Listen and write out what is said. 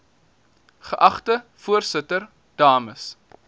geagte voorsitter dames